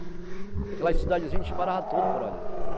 Aquelas cidadezinhas, a gente parava tudo por ali.